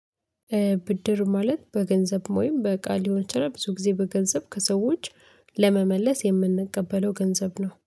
ብድር ማለት በገንዘብ ውይም በቃ ሊሆን ይችላል ብዙ ጊዜ በገንዘብ ከሰዎች ለመመለስ የምንቀበለው ገንዘብ ነው